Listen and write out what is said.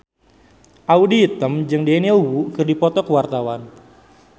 Audy Item jeung Daniel Wu keur dipoto ku wartawan